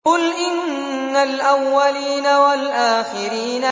قُلْ إِنَّ الْأَوَّلِينَ وَالْآخِرِينَ